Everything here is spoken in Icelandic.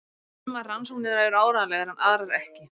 Sumar rannsóknirnar eru áreiðanlegar en aðrar ekki.